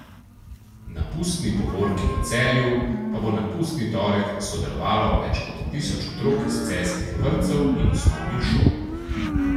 Na pustni povorki v Celju pa bo na pustni torek sodelovalo več kot tisoč otrok iz celjskih vrtcev in osnovnih šol.